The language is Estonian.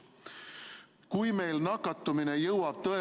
Kui meil nakatumine jõuab tõepoolest ...